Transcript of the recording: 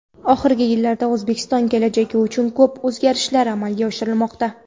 Oxirgi yillarda O‘zbekiston kelajagi uchun ko‘p o‘zgarishlar amalga oshirilmoqda.